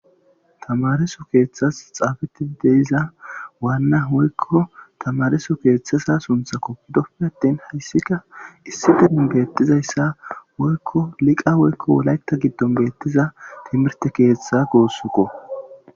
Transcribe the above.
tamaresu keeththas xaabeti deiza waanna woykko tamaresu keeththasa sunthako dokimeenattin hayssika issi demin beettizayssa woykko liqa woykko wolayta giddon beettiza timirte keeththa goossuko